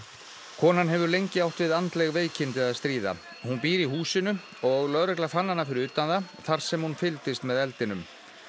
konan hefur lengi átt við andleg veikindi að stríða hún býr í húsinu og lögregla fann hana fyrir utan það þar sem hún fylgdist með eldinum